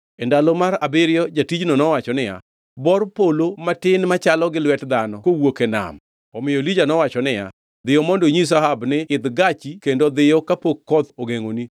E ndalo mar abiriyo jatijno nowacho niya, “Bor polo matin machalo gi lwet dhano kowuok e nam.” Omiyo Elija nowacho niya, “Dhiyo mondo inyis Ahab ni, ‘Idh gachi kendo dhiyo kapok koth ogengʼoni.’ ”